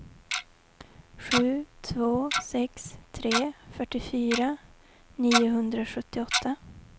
sju två sex tre fyrtiofyra niohundrasjuttioåtta